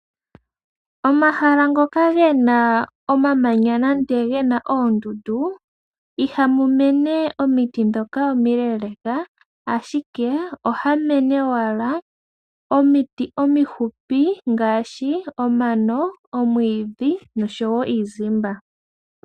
Pomahala goondundu ihapu mene omiti omileeleka, ashike ohapumene owala omiti omifupi ngaashi omano, omwiidhi nosho woo iizimba.